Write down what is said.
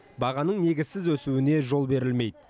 бағаның негізсіз өсуіне жол берілмейді